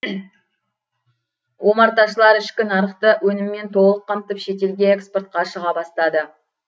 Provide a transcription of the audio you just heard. омарташылар ішкі нарықты өніммен толық қамтып шетелге экспортқа шыға бастады